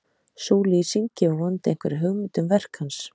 Sú lýsing gefur vonandi einhverja hugmynd um verk hans.